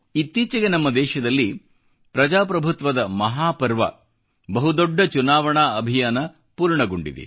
ಇತ್ತೀಚೆಗೆ ನಮ್ಮ ದೇಶದಲ್ಲಿ ಪ್ರಜಾಪ್ರಭುತ್ವದ ಮಹಾಪರ್ವ ಬಹುದೊಡ್ಡ ಚುನಾವಣಾ ಅಭಿಯಾನ ಪೂರ್ಣಗೊಂಡಿದೆ